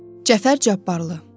Cəfər Cabbarlı.